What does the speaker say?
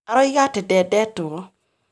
Aroiga atĩ ndendetwo